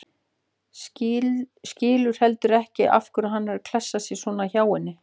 Skilur heldur ekki af hverju hann er að klessa sér svona hjá henni.